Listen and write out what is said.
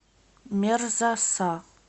мерза са